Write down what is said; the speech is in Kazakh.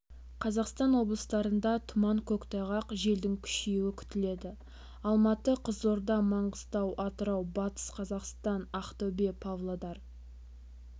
қазақстан облыстарында тұман көктайғақ желдің күшеюі күтіледі алматы қызылорда маңғыстау атырау батыс қазақстан ақтөбе павлодар